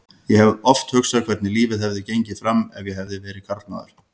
Ég hef oft hugsað hvernig lífið hefði gengið fram ef ég hefði verið karlmaður.